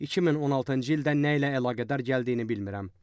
2016-cı ildə nə ilə əlaqədar gəldiyini bilmirəm.